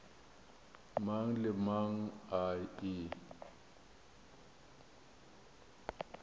mang le mang a e